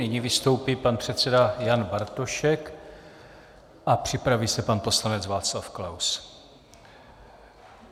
Nyní vystoupí pan předseda Jan Bartošek a připraví se pan poslanec Václav Klaus.